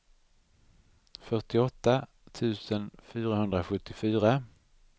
fyrtioåtta tusen fyrahundrasjuttiofyra